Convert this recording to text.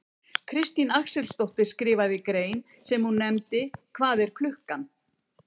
Katrín Axelsdóttir skrifaði grein sem hún nefndi Hvað er klukkan?